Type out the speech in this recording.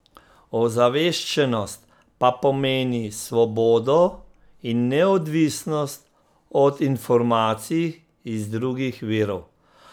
Ozaveščenost pa pomeni svobodo in neodvisnost od informacij iz drugih virov.